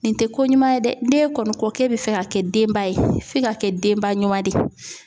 Nin te ko ɲuman ye dɛ. N'e kɔni ko k'e be fɛ ka kɛ denba ye f'i ka kɛ denba ɲuman de ye.